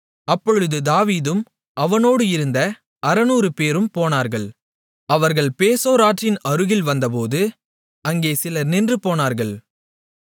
அப்பொழுது தாவீதும் அவனோடு இருந்த 600 பேரும் போனார்கள் அவர்கள் பேசோர் ஆற்றின் அருகில் வந்தபோது அங்கே சிலர் நின்றுபோனார்கள்